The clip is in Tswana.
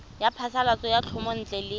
ya phasalatso ya thomelontle le